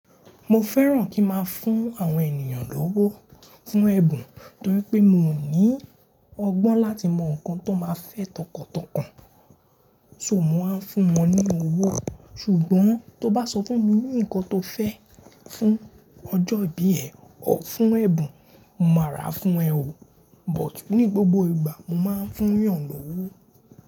Mo fẹ́ràn kí n máa fún àwọn ènìyàn lówó fún ẹ̀bùn, torí pé mi ò ní ọgbọ́n láti mọ nǹkan tó máa fẹ́ tọkàntọkàn. So, mò wa ń fún wọn ní owó. Ṣùgbọ́n tó bá sọ fún mi ní ǹkan tó fẹ́ fún ọjọ́ ìbí ẹ̀, ọ̀ fún ẹ̀bùn, mo máa rà fún ẹ ó. But ní gbogbo ìgbà, mo máa ń fún yan lówó.